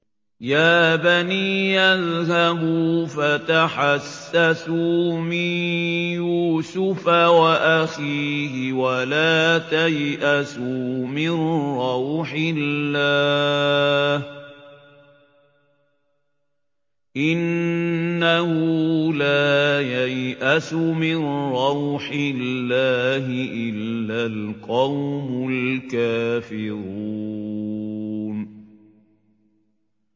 يَا بَنِيَّ اذْهَبُوا فَتَحَسَّسُوا مِن يُوسُفَ وَأَخِيهِ وَلَا تَيْأَسُوا مِن رَّوْحِ اللَّهِ ۖ إِنَّهُ لَا يَيْأَسُ مِن رَّوْحِ اللَّهِ إِلَّا الْقَوْمُ الْكَافِرُونَ